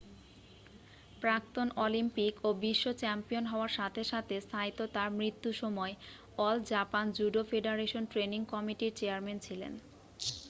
প্রাক্তন অলিম্পিক ও বিশ্ব চ্যাম্পিয়ন হওয়ার সাথে সাথে সাইতো তাঁর মৃত্যু সময় all Japan judo federation training কমিটি'র চেয়ারম্যান ছিলেন